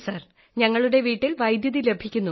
sir ഞങ്ങളുടെ വീട്ടിൽ വൈദ്യുതി ലഭിക്കുന്നു